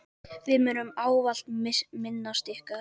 Við munum ávallt minnast ykkar.